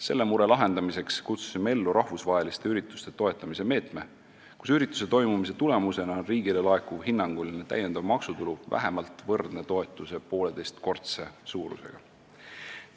Selle mure lahendamiseks kutsusime ellu rahvusvaheliste ürituste toetamise meetme, kus ürituse toimumise tulemusena riigile laekuv hinnanguline täiendav maksutulu on vähemalt võrdne toetuse pooleteisekordse suurusega.